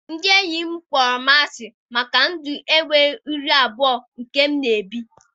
Ndị enyi m kpọrọ m asị maka ndụ enweghị iru abụọ nke m na-ebi.